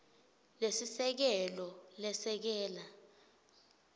lesiseke lo lesekela